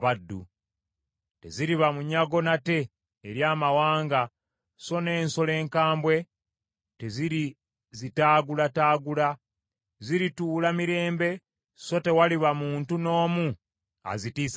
Teziriba munyago nate eri amawanga, so n’ensolo enkambwe tezirizitaagulataagula. Zirituula mirembe so tewaliba muntu n’omu azitiisatiisa.